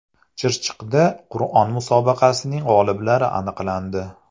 Chirchiqda Qur’on musobaqasining g‘oliblari aniqlandi.